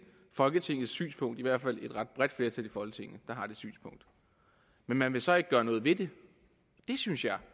folketingets synspunkt i hvert fald et ret bredt flertal i folketinget har det synspunkt men man vil så ikke gøre noget ved det det synes jeg